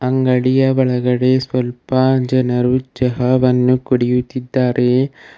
ಅಂಗಡಿಯ ಒಳಗಡೆ ಸ್ವಲ್ಪ ಜನರು ಚಹವನ್ನು ಕುಡಿಯುತ್ತಿದ್ದಾರೆ.